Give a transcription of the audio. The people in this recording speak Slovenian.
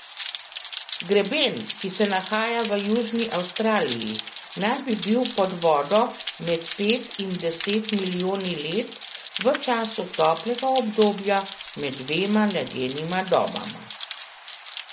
Greben, ki se nahaja v južni Avstraliji, naj bi bil pod vodo med pet in deset milijoni let v času toplega obdobja med dvema ledenima dobama.